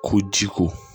Ko ji ko